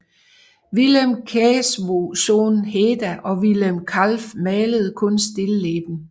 Willem Claeszoon Heda og Willem Kalf malede kun stilleben